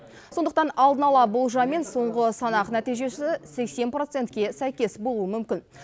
сондықтан алдын ала болжам мен соңғы санақ нәтижесі сексен процентке сәйкес болуы мүмкін